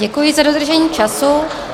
Děkuji za dodržení času.